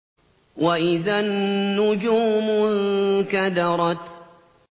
وَإِذَا النُّجُومُ انكَدَرَتْ